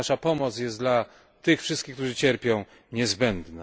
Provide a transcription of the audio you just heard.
Nasza pomoc jest dla wszystkich, którzy cierpią, niezbędna.